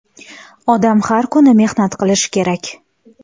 Odam har kuni mehnat qilishi kerak!